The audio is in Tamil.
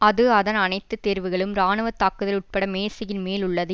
அது அதன் அனைத்து தேர்வுகளும் இராணுவ தாக்குதல் உட்பட மேசையின் மேல் உள்ளது